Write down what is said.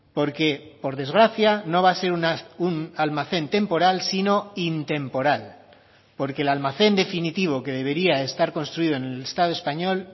porque por desgracia no va a ser un almacén temporal sino intemporal porque el almacén definitivo que debería estar construido en el estado español